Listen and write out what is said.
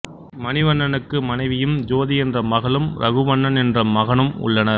மணிவண்ணனுக்கு மனைவியும் ஜோதி என்ற மகளும் ரகுவண்ணன் என்ற மகனும் உள்ளனர்